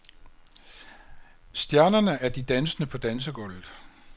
Stjernerne er de dansende på dansegulvet.